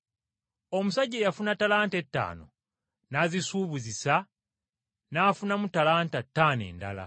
Omusajja eyafuna ttalanta ettaano n’azisuubuzisa n’afunamu ttalanta ttaano endala.